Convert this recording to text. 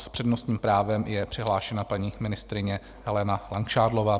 S přednostním právem je přihlášena paní ministryně Helena Langšádlová.